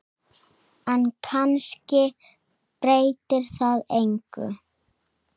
En kannski breytir það engu.